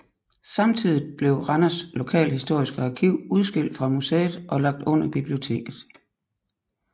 Samtidigt blev Randers Lokalhistoriske Arkiv udskilt fra museet og lagt under biblioteket